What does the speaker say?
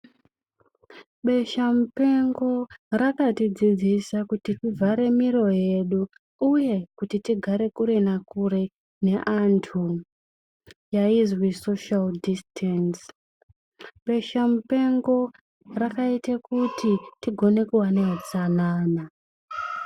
Besha mupengo rakatidzidzisa kuti tivhare miro yedu uye kuti tigare kure nakure neandu. Yainzi soshari dhisitenzi. Besha mupengo rakaite kuti tigone kuva nehutsanana.